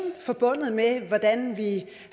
forbundet med hvordan vi